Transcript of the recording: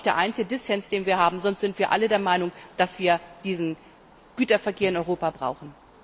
Das ist der einzige Dissens, den wir haben, sonst sind wir alle der Meinung, dass wir diesen Güterverkehr in Europa brauchen.